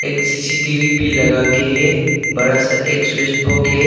एक सी_सी_टी_वी भी लगा के है बड़ा सा एक स्विच बोक है।